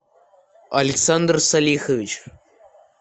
александр салихович